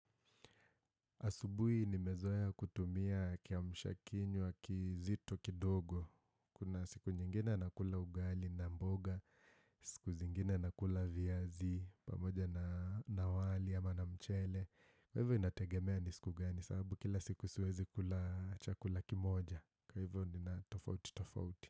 Asubuhi nimezoea kutumia kiamsha kinywa kizito kidogo. Kuna siku nyingine nakula ugali na mboga, siku zingine nakula viazi, pamoja na wali ama na mchele. Kwa hivyo inategemea ni siku gani, sababu kila siku siwezi kula chakula kimoja. Kwa hivyo nina tofauti, tofauti.